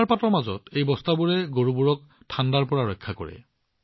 তুষাৰপাতৰ মাজত এই বস্তাবোৰে গৰুবোৰক ঠাণ্ডাৰ পৰা সুৰক্ষিত কৰে